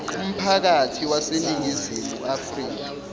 umphakathi waseningizimu afrika